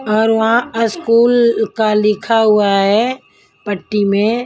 और वहाँ अस्कूल का लिखा हुआ हैपट्टी में--